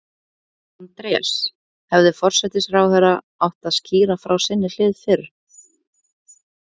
Andrés, hefði forsætisráðherra átt að skýra frá sinni hlið fyrr?